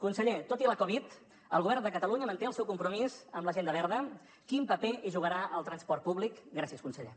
conseller tot i la covid el govern de catalunya manté el seu compromís amb l’agenda verda quin paper hi jugarà el transport públic gràcies conseller